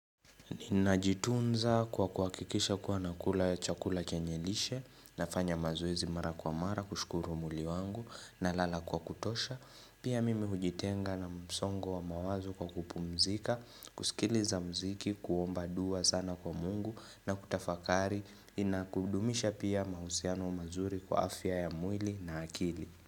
Ninajitunza kwa kuakikisha kuwa nakula ya chakula chenye lishe nafanya mazoezi mara kwa mara kushukuru muli wangu na lala kwa kutosha Pia mimi hujitenga na msongo wa mawazo kwa kupumzika, kusikiliza mziki, kuomba dua sana kwa mungu na kutafakari Inakudumisha pia mahusiano mazuri kwa afya ya mwili na akili.